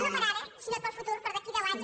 no per ara sinó per al futur per d’aquí a deu anys